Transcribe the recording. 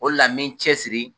O de la,n bɛ n cɛ siri